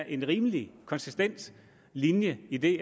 en rimelig konsistent linje i det